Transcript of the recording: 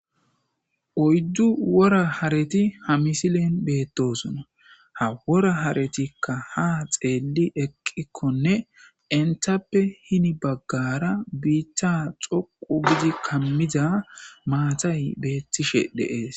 oyddu wora hareti ha misilen beettosona ha wora haretikka ha xeelli eqqikkonne intappe hini baggara biichcha xoqu gidi kammiza maatay beettishe deees